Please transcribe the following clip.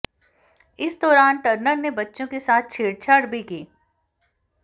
इस दौरान टर्नर ने बच्चों के साथ छेड़छाड़ भी की